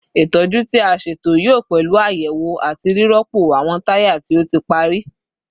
Itọju ti a ṣeto yoo pẹlu ayewo ati rirọpo awọn taya ti o ti pari